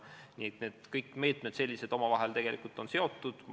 Nii et kõik sellised meetmed on omavahel seotud.